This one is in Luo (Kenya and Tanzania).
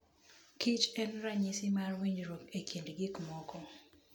kich en ranyisi mar winjruok e kind gik moko.